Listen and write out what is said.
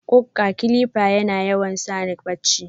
ƙukka "clipper" yana yawan sani barchi.